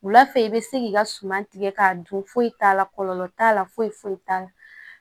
Wula fɛ i bɛ se k'i ka suman tigɛ k'a dun foyi t'a la kɔlɔlɔ t'a la foyi foyi t'a la